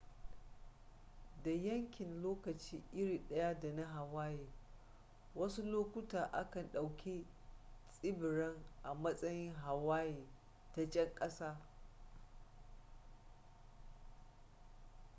da yankin lokaci iri daya da na hawaii wasu lokuta a kan ɗauki tsibiran a matsayin hawaii ta can ƙasa